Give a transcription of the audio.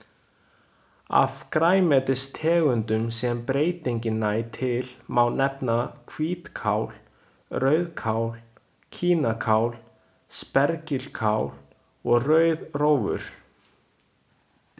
Af grænmetistegundum sem breytingin nær til má nefna hvítkál, rauðkál, kínakál, spergilkál og rauðrófur.